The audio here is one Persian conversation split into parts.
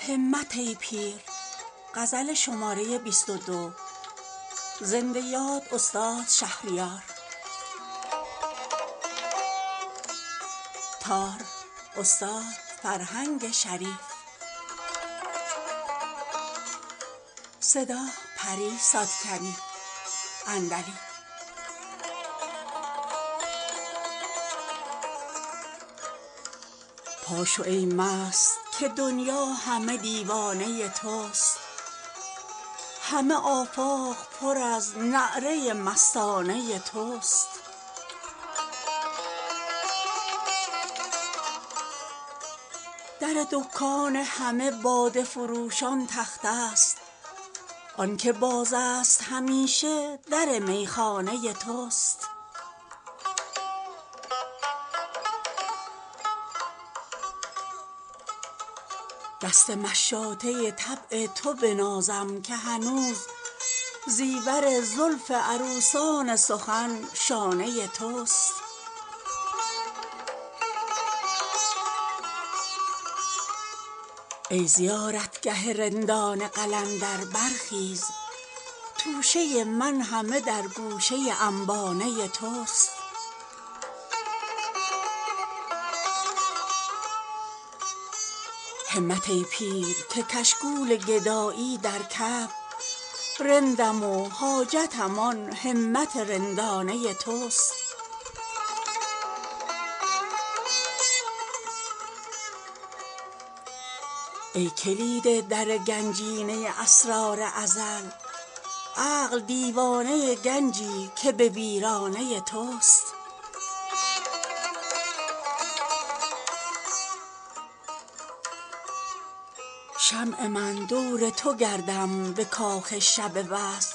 پا شو ای مست که دنیا همه دیوانه توست همه آفاق پر از نعره مستانه توست در دکان همه باده فروشان تخته است آن که باز است همیشه در میخانه توست دست مشاطه طبع تو بنازم که هنوز زیور زلف عروسان سخن شانه توست دور پیوند تسلسل به تو دادند آری دست غیبی ست که با گردش پیمانه توست ای زیارتگه رندان قلندر برخیز توشه من همه در گوشه انبانه توست همت ای پیر که کشکول گدایی در کف رندم و حاجتم آن همت رندانه توست ای کلید در گنجینه اسرار ازل عقل دیوانه گنجی که به ویرانه توست شمع من دور تو گردم به کاخ شب وصل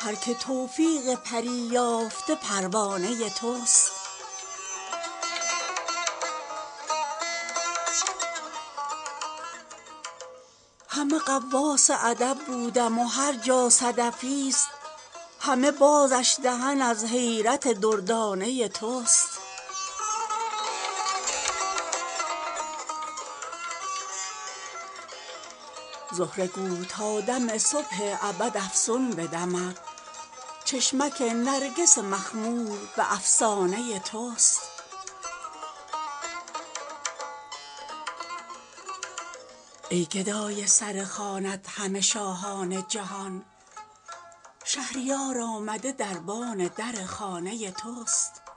هر که توفیق پری یافته پروانه توست در خرابات تو سر نیست که ماند دستار وای از آن سرکه شرابی که به خمخانه توست همه غواص ادب بودم و هرجا صدفی ست همه بازش دهن از حیرت دردانه توست تخت جم دیدم و سرمایه شاهان عجم که نه با سرمدی شوکت شاهانه توست در یکی آینه عکس همه آفاق ای جان این چه جادوست که در جلوه جانانه توست زهره گو تا دم صبح ابد افسون بدمد چشمک نرگس مخمور به افسانه توست ای گدای سر خوانت همه شاهان جهان شهریار آمده دربان در خانه توست